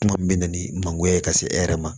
Kuma min bɛ na ni mangooya ye ka se e yɛrɛ ma